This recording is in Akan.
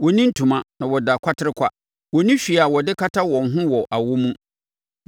Wɔnni ntoma, na wɔda kwaterekwa; wɔnni hwee a wɔde kata wɔn ho wɔ awɔ mu.